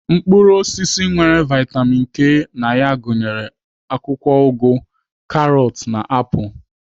Mkpụrụ osisi nwere vitamin K na ya gụnyere akwụkwọ ụgụ, karọt na na apụl.